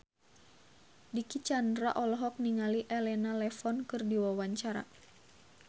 Dicky Chandra olohok ningali Elena Levon keur diwawancara